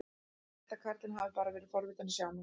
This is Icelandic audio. Ég held að karlinn hafi bara verið forvitinn að sjá mig.